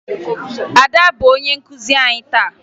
Ada bụ onye nkụzi anyị taa